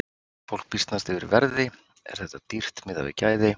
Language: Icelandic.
Fólk býsnast yfir verði, er þetta dýrt miðað við gæði?